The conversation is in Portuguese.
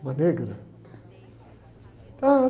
Uma negra.